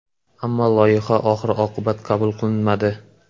Ammo loyiha oxir-oqibat qabul qilinmadi.